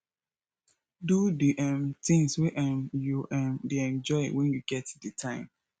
do the um things wey um you um dey enjoy when you get di time